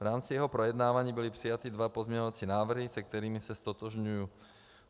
V rámci jeho projednávání byly přijaty dva pozměňovací návrhy, se kterými se ztotožňuji.